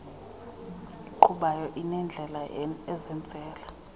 eqhubayo inendlela ezenzela